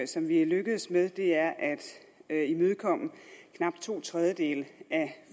som vi har lykkedes med er at imødekomme knap to tredjedele af